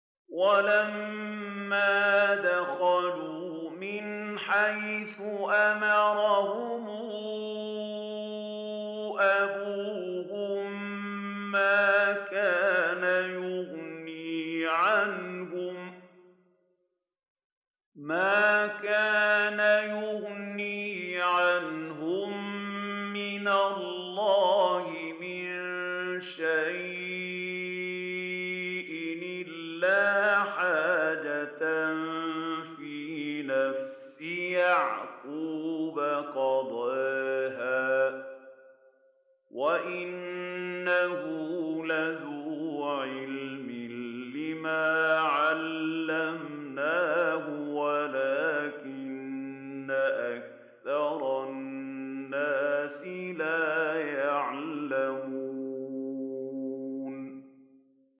وَلَمَّا دَخَلُوا مِنْ حَيْثُ أَمَرَهُمْ أَبُوهُم مَّا كَانَ يُغْنِي عَنْهُم مِّنَ اللَّهِ مِن شَيْءٍ إِلَّا حَاجَةً فِي نَفْسِ يَعْقُوبَ قَضَاهَا ۚ وَإِنَّهُ لَذُو عِلْمٍ لِّمَا عَلَّمْنَاهُ وَلَٰكِنَّ أَكْثَرَ النَّاسِ لَا يَعْلَمُونَ